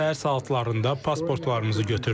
Səhər saatlarında pasportlarımızı götürdülər.